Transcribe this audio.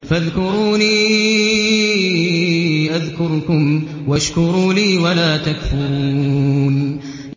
فَاذْكُرُونِي أَذْكُرْكُمْ وَاشْكُرُوا لِي وَلَا تَكْفُرُونِ